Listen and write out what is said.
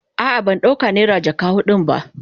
A'a ban dauka naira jaka hudun ba.